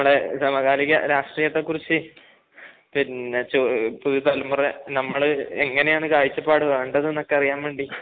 നമ്മുടെ സമകാലിക രാഷ്ട്രീയത്തെക്കുറിച്ച് പിന്നെ പുതിയ തലമുറ, നമ്മൾ എങ്ങനെയാണ് കാഴ്ചപ്പാട് വേണ്ടതെന്നൊക്കെ അറിയാൻവേണ്ടി